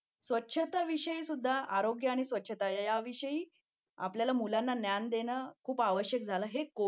स्वच्छतेविषयी सुद्धा आरोग्य आणि स्वच्छता याविषयी आपल्याला मुलांना ज्ञान देणे खूप आवश्यक मला हे